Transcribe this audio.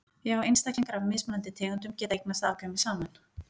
Já einstaklingar af mismunandi tegundum geta eignast afkvæmi saman.